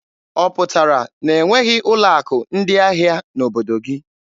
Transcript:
Ọ pụtara na e nweghị ụlọ akụ ndị ahịa n'obodo gị.